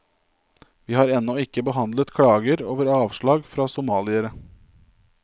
Vi har ennå ikke behandlet klager over avslag fra somaliere.